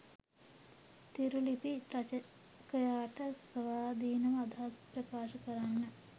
තීරුලිපි රචකයාට ස්වාධීනව අදහස් ප්‍රකාශ කරන්න